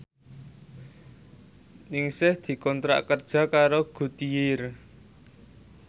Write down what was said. Ningsih dikontrak kerja karo Goodyear